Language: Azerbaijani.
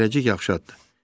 Zərrəcik yavaşladı.